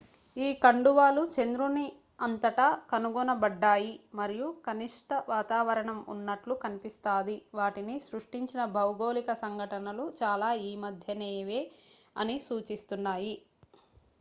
ఈ కండువాలు చంద్రుని అంతటా కనుగొనబడ్డాయి మరియు కనిష్ట వాతావరణం ఉన్నట్లు కనిపిస్తాది వాటిని సృష్టించిన భౌగోళిక సంఘటనలు చాలా ఈమధ్యనేవే అని సూచిస్తున్నాయి